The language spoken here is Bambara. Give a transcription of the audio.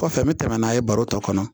Kɔfɛ n bɛ tɛmɛ n'a ye baro tɔ kɔnɔ